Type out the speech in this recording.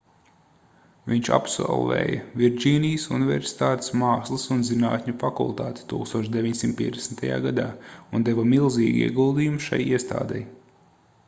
viņš absolvēja virdžīnijas universitātes mākslas un zinātņu fakultāti 1950. gadā un deva milzīgu ieguldījumu šai iestādei